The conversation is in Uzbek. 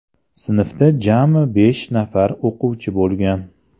Sinfda jami besh nafar o‘quvchi bo‘lgan.